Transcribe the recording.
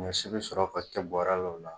Ɲɔsi bi sɔrɔ ka kɛ bɔrɛ la o la